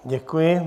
Děkuji.